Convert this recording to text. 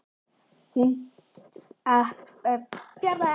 Hann tók um hálsinn og lyfti sellóinu upp úr kassanum.